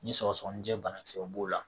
Ni sɔgɔsɔgɔnijɛ banakisɛw b'o la